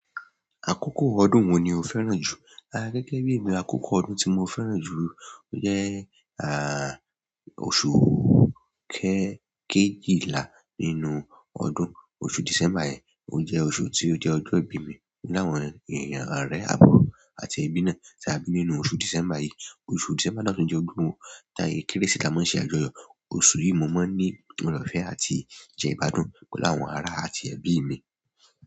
Àkókò ọdún wo ni o fẹ́ràn jù? Ah, gẹ́gẹ́ bí èmi, àkókò ọdún tí mo fẹ́ràn jù lo jẹ́ àh, oṣù kẹ-kejìlá nínú ọdún. Oṣù December yẹn, o jẹ́ oṣù tí ó jẹ́ ọjọ́ ìbí mi. Mo ni àwọn ọ̀rẹ́, èèyàn àrẹ àbúrò àti ẹbí náà tí a bí nínú oṣù December yìí. Oṣù December ni ó tún jẹ́ ọdún wo táyé Kérésìmesì a máa ṣe àjọyọ̀. Oṣù yìí mo máa ń ní ọ̀rẹ́ ọ̀fẹ́ àti jẹ igbàdún pẹ̀lú àwọn ara àti ẹbí mi.